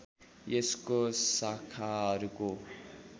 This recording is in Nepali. यसको शाखाहरूको